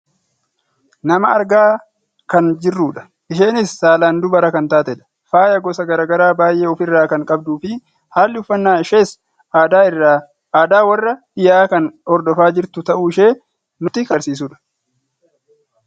Nama argaa kan jirrudha . Isheenis saalaan dubara kan taatedha. Faaya gosa gara garaa baayyee of irraa kan qabduufi haalli uffannaa ishees aadaa warra dhiyaa kan hordofaa jirtu ta'uushee nutti kan agarsiisudha.